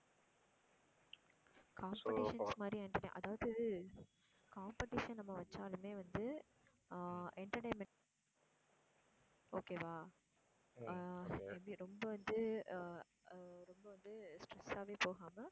அதாவது competition அ நம்ம வச்சாலுமே வந்து ஆஹ் entertainment okay வா அஹ் எப்படி ரொம்ப வந்து அஹ் அஹ் ரொம்ப வந்து stress ஆவே போகாம